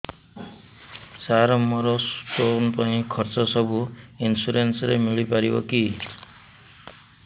ସାର ମୋର ସ୍ଟୋନ ପାଇଁ ଖର୍ଚ୍ଚ ସବୁ ଇନ୍ସୁରେନ୍ସ ରେ ମିଳି ପାରିବ କି